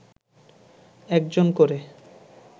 একজন করে